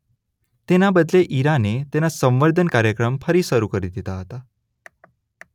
તેના બદલે ઇરાને તેના સંવર્ધન કાર્યક્રમ ફરી શરૂ કરી દીધા હતા.